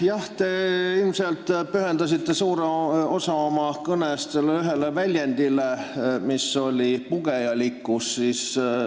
Jah, te ilmselt pühendasite suure osa oma kõnest sellele ühele sõnale, see oli "pugejalikkus".